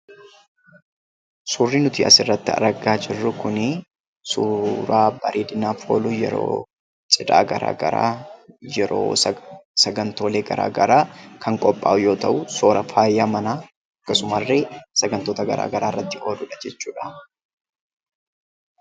Suuraan asirratti arginu kun suuraa bareedinaaf oolu yeroo cidha gara garaa yeroo sagantoolee gara garaa kan qophaa'u yeroo ta'u, suura faaya manaa, akkasummas illee sagantoota gara garaaf ooludha jechuudha.